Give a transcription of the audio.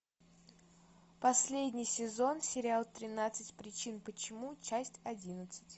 последний сезон сериал тринадцать причин почему часть одиннадцать